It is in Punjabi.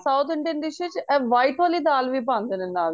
south Indian dish ਵਿੱਚ ਇਹ white ਵਾਲੀ ਦਾਲ ਵੀ ਪਾਂਦੇ ਨੇ ਨਾਲ